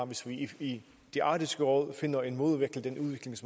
hvis vi i arktisk råd finder en måde